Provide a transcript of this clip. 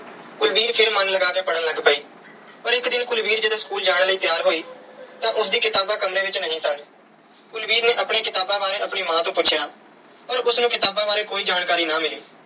ਕੁਲਵੀਰ ਫਿਰ ਮਨ ਲਗਾ ਕੇ ਪੜ੍ਹਨ ਲੱਗ ਪਈ। ਪਰ ਇਕ ਦਿਨ ਜਦੋਂ ਕੁਲਵੀਰ school ਜਾਣ ਲਈ ਤਿਆਰ ਹੋਈ ਤਾਂ ਉਸ ਦੀਆਂ ਕਿਤਾਬਾਂ ਕਮਰੇ ਵਿੱਚ ਨਹੀਂ ਸਨ। ਕੁਲਵੀਰ ਨੇ ਆਪਣੀਆਂ ਕਿਤਾਬਾਂ ਬਾਰੇ ਆਪਣੀ ਮਾਂ ਤੋਂ ਪੁੁੱਛਿਆ। ਪਰ ਉਸ ਨੂੰ ਕਿਤਾਬਾਂ ਬਾਰੇ ਕੋਈ ਜਾਣਕਾਰੀ ਨਾ ਮਿਲੀ।